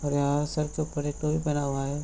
और यहाँ सर के ऊपर एक टोपी पहना हुआ है |